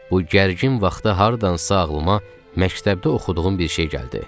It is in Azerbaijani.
Bu gərgin vaxtda hardansa ağlıma məktəbdə oxuduğum bir şey gəldi.